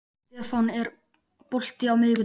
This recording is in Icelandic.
Stefán, er bolti á miðvikudaginn?